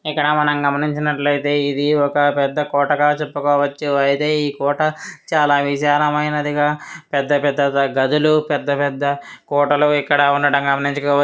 ఇక్కడ మనం గమనించినట్లయితే ఇది ఒక పెద్ద కోటగా చెప్పుకోవచ్చు అయితే ఈ కోట చాలా విశాలమైనదిగా పెద్ద పెద్ద గదులు పెద్దపెద్ద కోటలు ఇక్కడ ఉండడం గమనించవచ్చు.